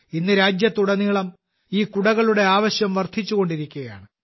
ഇന്ന് രാജ്യത്തുടനീളം ഈ കുടകളുടെ ആവശ്യം വർദ്ധിച്ചുകൊണ്ടിരിക്കുകയാണ്